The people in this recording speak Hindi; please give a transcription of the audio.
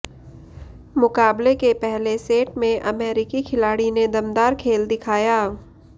मुकाबले के पहले सेट में अमेरिकी खिलाड़ी ने दमदार खेल दिखाया